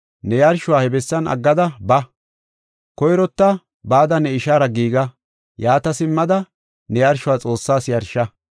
ne yarshuwa he bessan aggada ba; koyrota bada ne ishaara giiga; yaata simmada, ne yarshuwa Xoossaas yarsha.